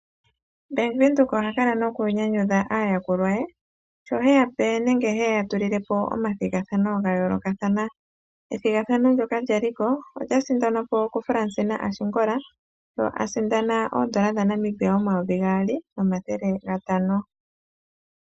Bank Windhoek ohakala noku nyanyudha aayakulwa ye, sho hayi yape, nenge hayi ya tulilepo omathigathano gayoolokathana. Ethigathano ndyoka lyaliko, olya sindanwa po ku Fransina Ashigola, sho a sindana oondola dhaNamibia oyomayovi gaali, nomathele gatano.